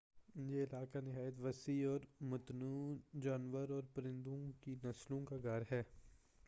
یہ علاقہ نہایت وسیع اور متنوع جانور اور پرندہ کی نسلوں کا گھر ہے